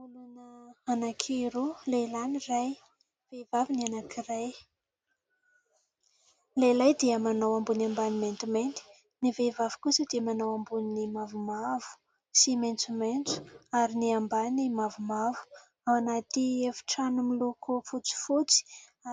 Olona anankiroa : lehilahy ny iray, vehivavy ny anankiray. Ny lehilahy dia manao ambony ambany maintimainty ; ny vehivavy kosa dia manao amboniny mavomavo sy maitsomaitso ary ny ambany mavomavo. Ao anaty efitrano miloko fotsifotsy